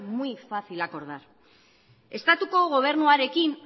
muy fácil acordar estatuko gobernuarekin